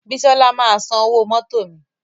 Bísola máa san owó mótò mi